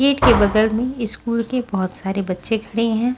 Gate के बगल में स्कूल के बहुत सारे बच्चे खड़े हैं।